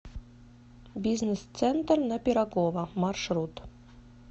бизнес центр на пирогова маршрут